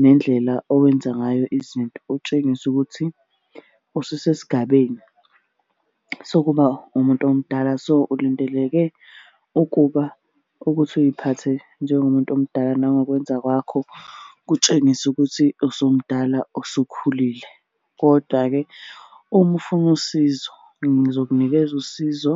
nendlela owenza ngayo izinto utshengise ukuthi ususesigabeni sokuba umuntu omdala. So, ulindeleke ukuba ukuthi uy'phathe njengomuntu omdala nangokwenza kwakho kutshengise ukuthi usumdala usukhulile, kodwa-ke uma ufuna usizo ngizokunikeza usizo.